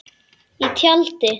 Í tjaldi.